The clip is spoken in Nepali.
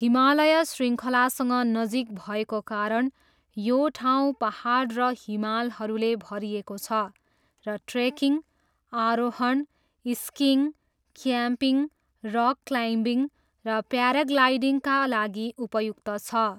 हिमालय शृङ्खलासँग नजिक भएको कारण यो ठाउँ पाहाड र हिमालहरूले भरिएको छ र ट्रेकिङ, आरोहण, स्किइङ, क्याम्पिङ, रक क्लाइम्बिङ र प्याराग्लाइडिङका लागि उपयुक्त छ।